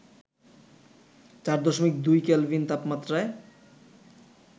৪.২ kelvin তাপমাত্রায়